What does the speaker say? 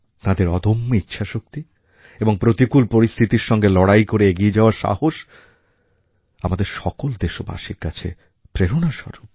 তাঁদের অদম্য ইচ্ছাশক্তি এবং প্রতিকূল পরিস্থিতির সঙ্গে লড়াই করে এগিয়ে যাওয়ার সাহস আমাদের সকল দেশবাসীর কাছে প্রেরণাস্বরূপ